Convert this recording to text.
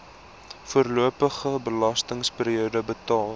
voorlopige belastingperiode betaal